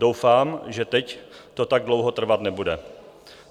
Doufám, že teď to tak dlouho trvat nebude."